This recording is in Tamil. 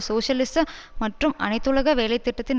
சோசியலிச மற்றும் அனைத்துலக வேலை திட்டத்தின்